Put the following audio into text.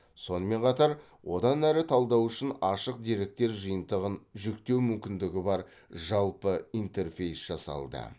сонымен қатар одан әрі талдау үшін ашық деректер жиынтығын жүктеу мүмкіндігі бар жалпы интерфейс жасалды